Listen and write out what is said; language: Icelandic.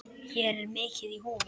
Hér er mikið í húfi.